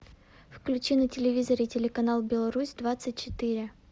включи на телевизоре телеканал беларусь двадцать четыре